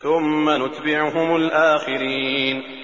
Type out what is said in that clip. ثُمَّ نُتْبِعُهُمُ الْآخِرِينَ